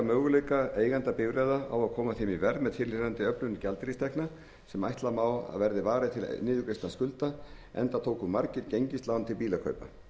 möguleika eigenda bifreiða á að koma þeim í verð með tilheyrandi öflun gjaldeyristekna sem ætla má að verði varið til niðurgreiðslu skulda enda tóku margir gengislán til bílakaupa